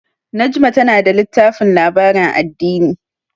Najma tana da littafin labarin addini.